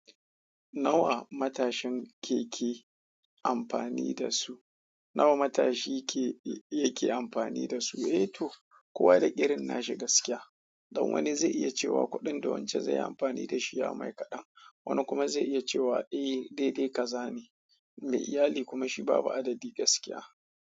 Nawa matashin ke ke amfani da su? Nawa matashi yake, yake amfani da su? Eh to, kowa da irin nashi gaskiya. Don wani zai iya cewa kuɗin da wance zai yi amfani da shi ya mai kaɗan. Wani kuma zai iya cewa eh daidai kaza ne. Mai iyali kuma shi babu adadi gaskiya.